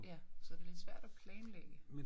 Ja så det lidt svært og planlægge